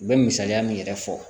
U bɛ misaliya min yɛrɛ fɔ